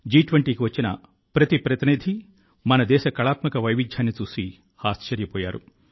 జి20కి వచ్చిన ప్రతి ప్రతినిధి మన దేశ కళాత్మక వైవిధ్యాన్ని చూసి ఆశ్చర్యపోయారు